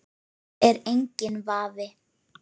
Það er enginn vafi.